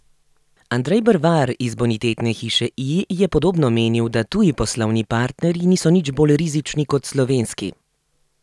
Andrej Brvar iz Bonitetne hiše I je podobno menil, da tuji poslovni partnerji niso nič bolj rizični kot slovenski.